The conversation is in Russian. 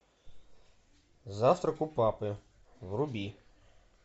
завтрак у папы вруби